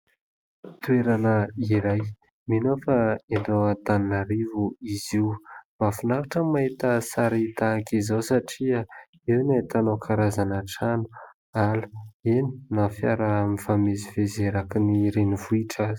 Toerana iray ; mino aho fa eto Antananarivo izy io ; mahafinaritra ny mahita sary tahak'izao satria eo no ahitanao karazana trano, ala, eny na fiara mifamezivezy erakin'ny renivohitra aza.